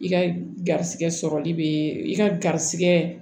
I ka garizigɛ sɔrɔli be i ka garijɛgɛ